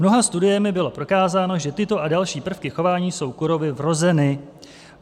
Mnoha studiemi bylo prokázáno, že tyto a další prvky chování jsou kurovi vrozeny.